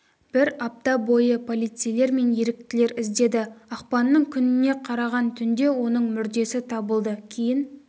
бір апта бойы полицейлер мен еріктілер іздеді ақпанның күніне қараған түнде оның мүрдесі табылды кейін